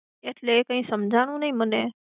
એટલે કંઈ સમઝાણુ નહિ મને.